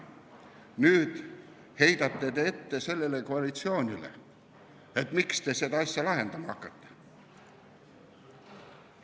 Nüüd te heidate ette sellele koalitsioonile, et miks te seda asja lahendama hakkate.